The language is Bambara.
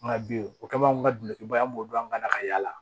Nka bi o kama anw ka dukubaya an b'o dɔn an kana ka yaala